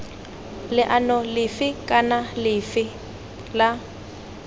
leano lefe kana lefe la